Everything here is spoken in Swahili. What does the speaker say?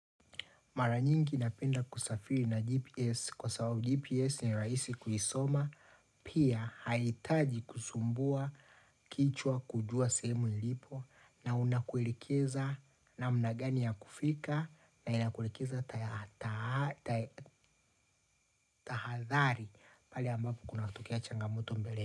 Mara nyingi napenda kusafiri na GPS kwa sababu GPS ni rahisi kuisoma pia haihitaji kusumbua kichwa kujua semu nilipo na unakuelekeza namna gani ya kufika na inakuelekeza tahathari pale ambapo kunatokea changamoto mbele.